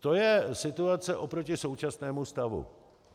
To je situace oproti současnému stavu.